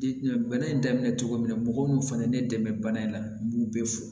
bana in daminɛ cogo min na mɔgɔw fana ye ne dɛmɛ bana in na n b'u bɛɛ fo